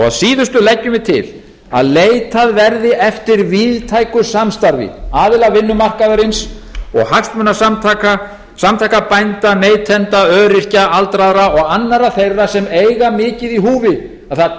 að síðustu leggjum við til að leitað verði eftir víðtæku samstarfi aðila vinnumarkaðarins og hagsmunasamtaka samtaka bænda neytenda öryrkja aldraðra og annarra þeirra sem eiga mikið í húfi að það